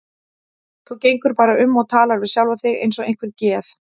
Þú gengur bara um og talar við sjálfa þig eins og einhver geð